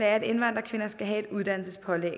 er at indvandrerkvinder skal have et uddannelsespålæg